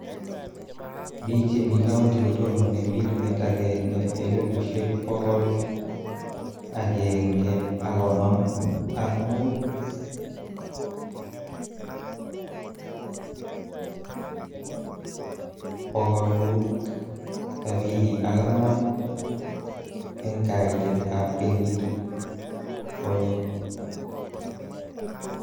Biik chemii kaunti kotonone 1,155,574 eng kaitet ab kenyit konye.